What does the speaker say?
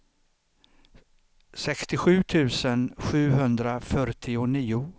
sextiosju tusen sjuhundrafyrtionio